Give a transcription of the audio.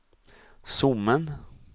Sommen